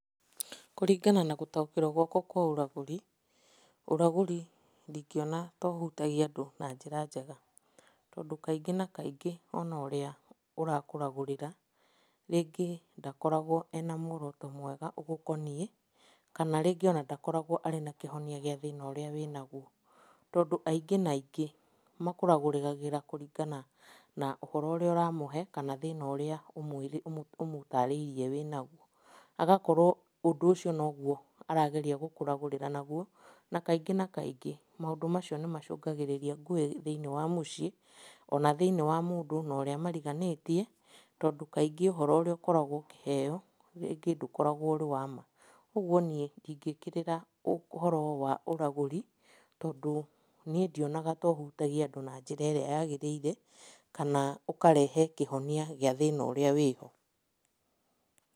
Kũringana na gũtaũkĩrwo gwakwa kwa ũragũri, ũragũri ndingĩona ta ũhutagia andũ na njĩra njega, tondũ kaingĩ na kaingĩ ona ũrĩa ũrakũragũrĩra, rĩngĩ ndakoragwo ena muoroto mwega ũgũkoniĩ, kana rĩngĩ ona ndakoragwo arĩ na kĩhonia gĩa thĩna ũrĩa wĩnaguo, tondũ aingĩ na aingĩ makũragũragĩra kũrigana na ũhoro ũrĩa ũramũhe kana thĩna ũrĩa ũmũtarĩirie wĩnaguo. Agakorwo ũndũ ũcio noguo arageria gũkũragũrĩra naguo, na kaingĩ na kaingĩ maũndũ macio nĩmacũngagĩrĩria ngũĩ thĩinĩ wa mũciĩ, ona thĩiniĩ wa mũndũ na ũrĩa mariganĩtie, tondũ kaingĩ ũhoro ũrĩa ũkoragwo ũkĩheo rĩngĩ ndũkoragwo ũrĩ wa ma. Ũguo niĩ ndingĩkĩrĩra ũhoro wa ũragũri tondũ niĩ ndionaga ta ũhutagia andũ na njĩra ĩrĩa yagĩrĩire, kana ũkarehe kĩhonia gĩa thĩna ũrĩa wĩho.